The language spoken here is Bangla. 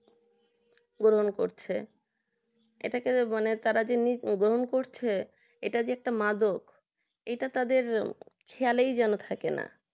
গ্রহণ করছে এটাকে যারা বলে তারা গ্রহণ করছে এটা যে একটা মাদক এটা যেন খেয়ালই থাকে না